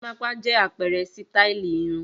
Gorímápá jẹ́ àpẹẹrẹ sítáálì irun.